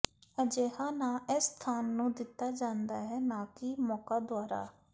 ਅਜਿਹਾ ਨਾਂ ਇਸ ਸਥਾਨ ਨੂੰ ਦਿੱਤਾ ਜਾਂਦਾ ਹੈ ਨਾ ਕਿ ਮੌਕਾ ਦੁਆਰਾ